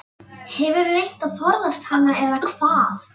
Hefurðu reynt að forðast hana eða hvað?